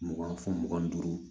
Mugan fɔ mugan ni duuru